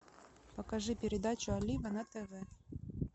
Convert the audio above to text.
покажи передачу алина на тв